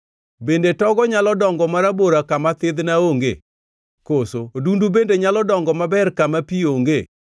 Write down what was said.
Bende togo nyalo dongo marabora kama thidhna ongee? Koso odundu bende nyalo dongo maber kama pi onge?